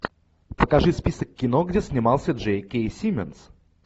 покажи список кино где снимался джей кей сименс